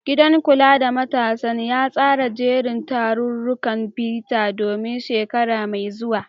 Gidan kula da matasan ya tsara jerin tarurrukan bita don shekara mai zuwa.